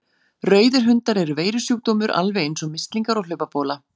Rauðir hundar eru veirusjúkdómur alveg eins og mislingar og hlaupabóla.